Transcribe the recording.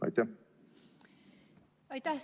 Aitäh!